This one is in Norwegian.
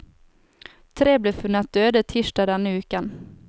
Tre ble funnet døde tirsdag denne uken.